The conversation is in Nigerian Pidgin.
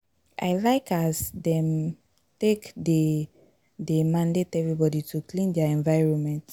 I like as dem take dey dey mandate everbody to clean their environment.